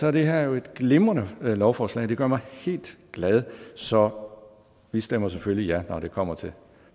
er det her jo et glimrende lovforslag og det gør mig helt glad så vi stemmer selvfølgelig ja når det kommer til